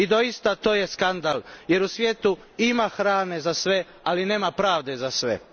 I doista, to je skandal, jer u svijetu ima hrane za sve, ali nema pravde za sve.